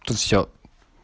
тут всё